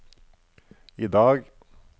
idag